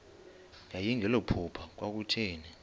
yayingelilo phupha kwakutheni